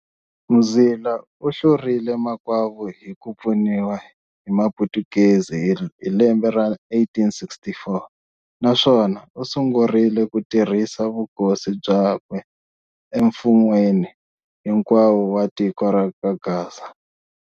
Mzila u hlurile makwavo hi ku pfuniwa hi maphutukezi hi lembe ra 1864 naswona u sungurile ku kurisa vukosi bya kwe e mfun'weni hinkwawo wa tiko ra le ka Gaza.